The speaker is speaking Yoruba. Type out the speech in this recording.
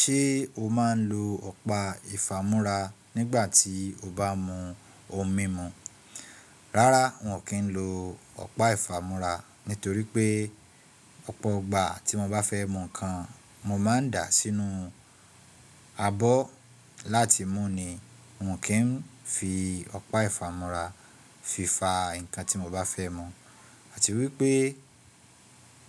Ṣé o máa ń lo ọ̀pá ìfámúrá nígbà tí o bá mu ohun mímu? Rárá miọ kì í lo ọ̀pá ìfámúrá nítorí pé ọ̀pọ̀ igbà tí mọ́ bá fẹ́ mu nǹkan, mọ́ máa ń dàá sínú abọ́ láti mú ni. Miọ kì í fi ọ̀pá ìfámúrá fi fa nǹkan tí mọ́ bá fẹ́ mu. Àti wípé